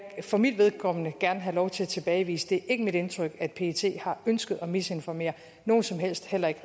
for mit vedkommende gerne have lov til at tilbagevise det er ikke mit indtryk at pet har ønsket at misinformere nogen som helst heller ikke